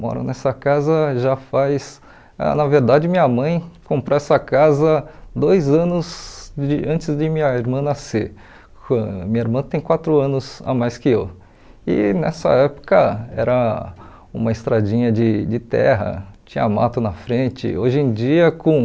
moro nessa casa já faz na verdade minha mãe comprou essa casa dois anos de antes de minha irmã nascer ãh minha irmã tem quatro anos a mais que eu e nessa época era uma estradinha de de terra tinha mato na frente hoje em dia com